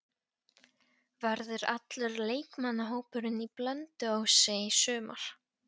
Verður allur leikmannahópurinn á Blönduósi í sumar?